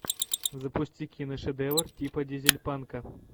запусти киношедевр типа дизель панка